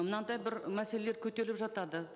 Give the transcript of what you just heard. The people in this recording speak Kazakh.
мынандай бір мәселелер көтеріліп жатады